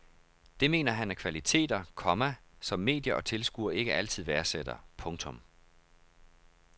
Det mener han er kvaliteter, komma som medier og tilskuere ikke altid værdsætter. punktum